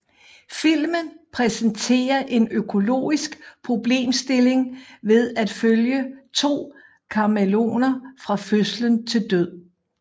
Filmen præsenterer en økologisk problemstilling ved at følge to kamæleoner fra fødsel til død